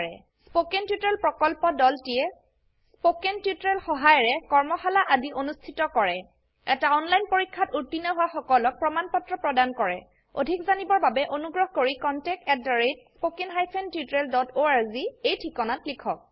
spoken tutorial প্ৰকল্পৰ দলটিয়ে spoken tutorial সহায়িকাৰে কৰ্মশালা আদি অনুষ্ঠিত কৰে এটা অনলাইন পৰীক্ষাত উত্তীৰ্ণ হোৱা সকলক প্ৰমাণ পত্ৰ প্ৰদান কৰে অধিক জানিবৰ বাবে অনুগ্ৰহ কৰি contactspoken tutorialorg এই ঠিকনাত লিখক